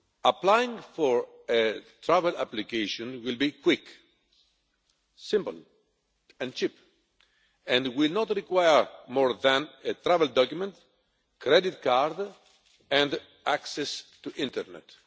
Applying for a travel application will be quick, simple and cheap and will not require more than a travel document, credit card and access to the internet.